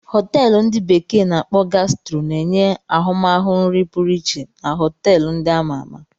Họteelu ndi bekee na-akpo Gastro na-enye ahụmahụ nri pụrụ iche na họteelu ndị a ma ama.